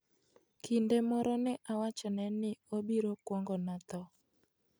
Kinde moro ne awachone ni obiro kuongona tho.